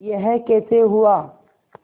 यह कैसे हुआ